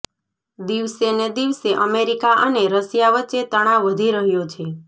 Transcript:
દિવસેને દિવસે અમેરિકા અને રશિયા વચ્ચે તણાવ વધી રહ્યો છે